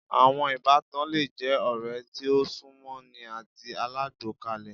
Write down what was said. Àwọn Ìbátan le je ọ̀rẹ́ tí o sún mọ́ ni àti alágbọkàlé